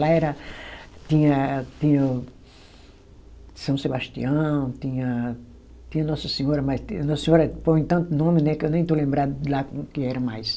Lá era, tinha, tinha São Sebastião, tinha, tinha Nossa Senhora, mas Nossa Senhora põe tanto nome, né, que eu nem estou lembrada de lá como que era mais.